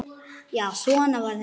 Já, svona var þetta þá.